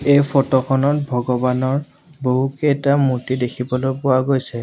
এই ফটো খনত ভগৱানৰ বহুতকেইটা মূৰ্ত্তি দেখিবলৈ পোৱা গৈছে।